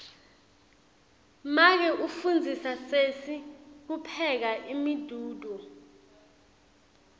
make ufundzisa sesi kupheka umdiduo